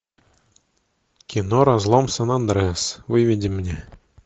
кино разлом сан андреас выведи мне